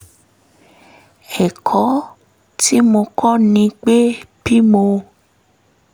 ẹ̀kọ́ tí mo kọ́ ni pé bí mo